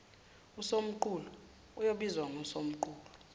usomqulu oyobizwa ngosomqulu